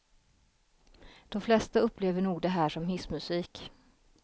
De flesta upplever nog det här som hissmusik.